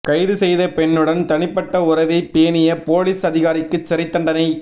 கைதுசெய்த பெண்ணுடன் தனிப்பட்ட உறவைப் பேணிய பொலிஸ் அதிகாரிக்கு சிறைத் தண்டனை